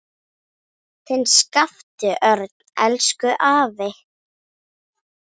Þinn Skapti Örn. Elsku afi.